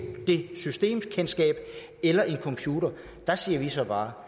det systemkendskab eller en computer der siger vi så bare